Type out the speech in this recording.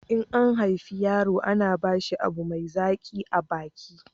in an haife yaro ana ba shi abu mai zaƙi a baki